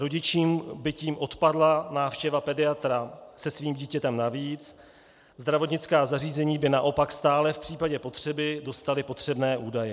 Rodičům by tím odpadla návštěva pediatra se svým dítětem navíc, zdravotnická zařízení by naopak stále v případě potřeby dostala potřebné údaje.